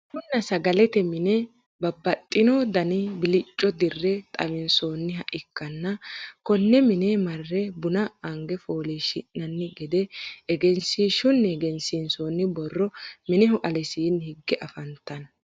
bununna sagalete mine babaxitino dani bilicco dirre xawinsoonniha ikkanna, konne mine marre buna ange foolishshinanni gede egenshiishunni egensiinsoonni borrono mineho alesiinni higge afantanno.